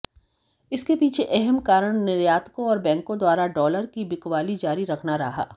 इसके पीछे अहम कारण निर्यातकों और बैंकों द्वारा डॉलर की बिकवाली जारी रखना रहा